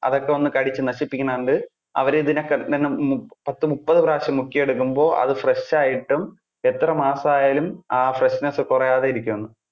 അതൊക്കെ വന്നു കടിച്ചു നശിപ്പിക്കുന്നത് കൊണ്ട്. അവര് ഇതിനെ പത്തു മുപ്പതു പ്രാവശ്യം മുക്കി എടുക്കുമ്പോൾ അത് fresh ആയിട്ടും എത്ര മാസം ആയാലും ആ freshness കുറയാതെ ഇരിക്കും എന്ന്.